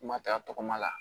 Kuma ta tɔgɔma la